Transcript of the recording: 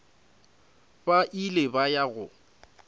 ba ile ba ya go